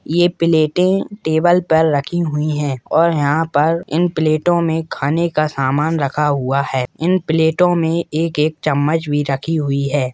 यह प्लेटे टेबल पर रखी हुई है और यहां पर इन प्लेटों में खाने का सामान रखा हुआ है इन प्लेटों में एक एक चम्मच भी रखी हुई है।